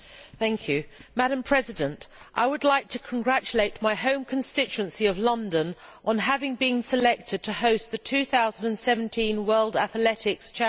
Madam President, I would like to congratulate my home constituency of London on having been selected to host the 2017 World Athletics Championships.